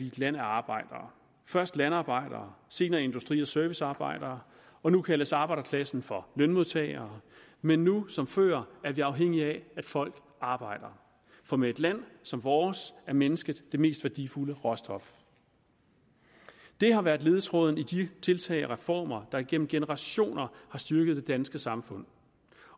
et land af arbejdere først landarbejdere senere industri og servicearbejdere og nu kaldes arbejderklassen for lønmodtagere men nu som før er vi afhængige af at folk arbejder for med et land som vores er mennesket det mest værdifulde råstof det har været ledetråden i de tiltag og reformer der igennem generationer har styrket det danske samfund